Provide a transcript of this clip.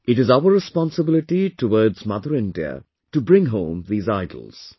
It is our responsibility towards Mother India to bring home these idols